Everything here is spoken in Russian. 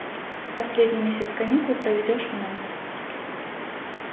последний месяц каникул проведёшь у нас